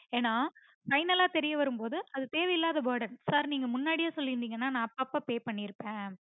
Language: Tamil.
ஏன்ன final ல தெரியாரும் பொது அது தேவையில்லாத burden sir நீங்க முன்னாடியே சொல்லிருந்தீங்கன்னா நா அப்பப்ப pay பண்ணீருந்துருப்பன்